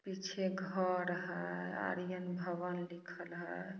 पीछे घर है आर्यन भवन लिखल है।